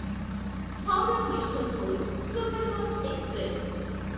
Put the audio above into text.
Howrah Yesvantpur superfast express